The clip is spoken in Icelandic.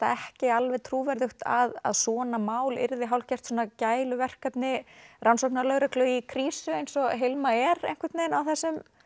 ekki alveg trúverðugt að svona mál yrði hálfgert gæluverkefni rannsóknarlögreglu í krísu eins og Hilma er á þessum